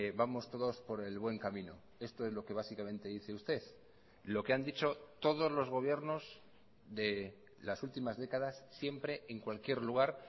vamos todos por el buen camino esto es lo que básicamente dice usted lo que han dicho todos los gobiernos de las últimas décadas siempre en cualquier lugar